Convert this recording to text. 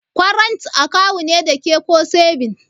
Kwarant akawu ne dake ko sebins?